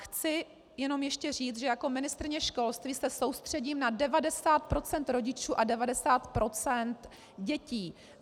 Chci jenom ještě říct, že jako ministryně školství se soustředím na 90 % rodičů a 90 % dětí.